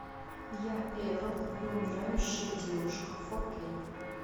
я эрл и умирающая девушка фо кей